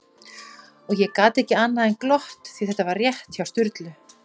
Og ég gat ekki annað en glott, því þetta var rétt hjá Sturlu